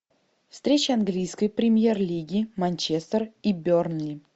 встреча английской премьер лиги манчестер и бернли